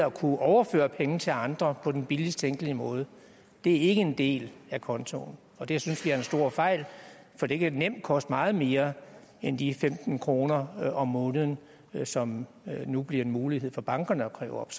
at kunne overføre penge til andre på den billigst tænkelige måde er ikke en del af kontoen og det synes vi er en stor fejl for det kan nemt koste meget mere end de femten kroner om måneden som det nu bliver en mulighed for bankerne at kræve op